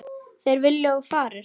Þeir vilja að þú farir.